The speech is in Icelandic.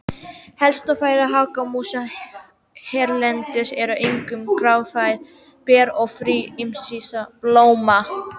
Helsta fæða hagamúsa hérlendis eru einkum grasfræ, ber og fræ ýmissa blóma.